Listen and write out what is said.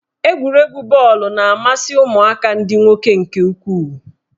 Egwuregwu bọọlụ na-amasị ụmụaka ndị nwoke nke ukwuu.